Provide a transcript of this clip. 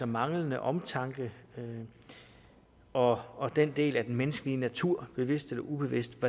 manglende omtanke og og den del af den menneskelige natur bevidst eller ubevidst